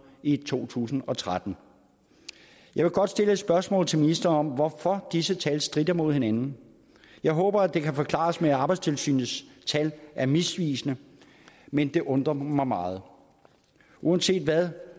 i to tusind og tretten jeg vil godt stille et spørgsmål til ministeren om hvorfor disse tal stritter mod hinanden jeg håber at det kan forklares med at arbejdstilsynets tal er misvisende men det undrer mig meget uanset hvad